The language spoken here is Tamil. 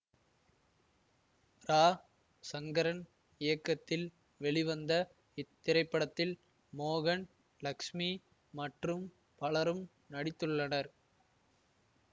ரா சங்கரன் இயக்கத்தில் வெளிவந்த இத்திரைப்படத்தில் மோகன் லக்ஸ்மி மற்றும் பலரும் நடித்துள்ளனர்